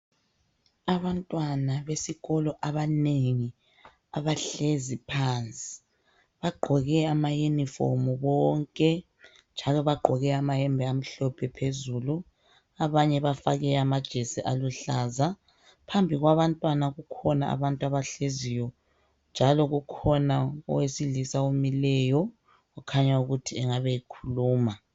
Abantwana besikolo abanengi abahlezi phansi bagqoke ama uniform bonke njalo bagqoke amayembe amhlophe phezulu abanye bafake amajesi aluhlaza phambi kwabantwana kukhona abantu abahleziyo njalo kukhona owesilisa omileyo okhanya ukuthi engabe ekhuluma.